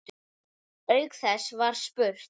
Auk þess var spurt